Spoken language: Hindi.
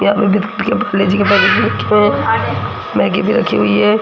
यहाँ पे भीं पाकिट रखें मैगी भीं रखीं हुई हैं।